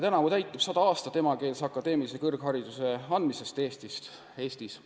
Tänavu täitub sada aastat emakeelse metsandusalase akadeemilise kõrghariduse andmisest Eestis.